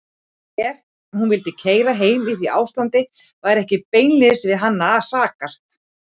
Ef hún vildi keyra heim í því ástandi var ekki beinlínis við hann að sakast.